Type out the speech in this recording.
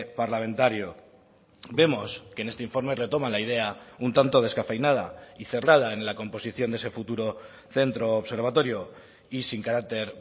parlamentario vemos que en este informe retoman la idea un tanto descafeinada y cerrada en la composición de ese futuro centro observatorio y sin carácter